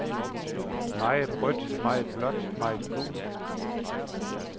Meget rødt, meget blåt, meget gult.